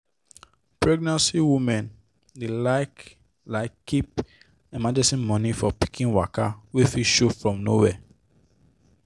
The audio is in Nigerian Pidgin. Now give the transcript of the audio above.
pregenant women dey like like keep emergency money for pikin waka wey fit show from nowhere.